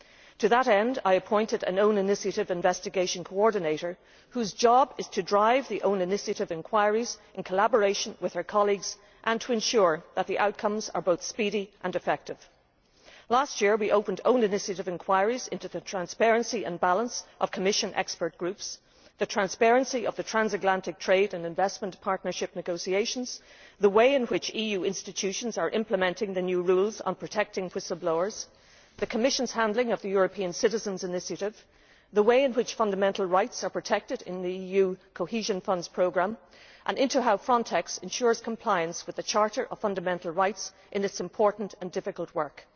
To that end, I appointed an Own Initiative Investigation Coordinator, whose job is to drive the own initiative inquiries in collaboration with her colleagues and to ensure that the outcomes are both speedy and effective. Last year we opened own initiative inquiries into the transparency and balance of Commission Expert Groups, the transparency of the Transatlantic Trade and Investment Partnership negotiations, the way in which EU institutions are implementing the new rules on protecting whistle blowers, the Commission's handling of the European Citizens Initiative, the way in which fundamental rights are protected in the EU cohesion fund programmes, and how Frontex ensures compliance with the Charter of Fundamental Rights in its important and difficult work.